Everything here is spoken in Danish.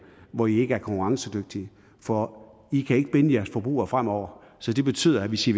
hvor i ikke er konkurrencedygtige for i kan ikke binde jeres forbrugere fremover så det betyder at hvis i